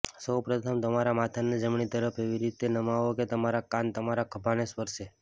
સૌ પ્રથમ તમારા માથાને જમણી તરફ એવી રીતે નમાવો કે તમારા કાન તમારા ખભાને સ્પર્શે